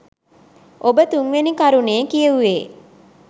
ඔබ තුන්වෙනි කරුණේ කියුවේ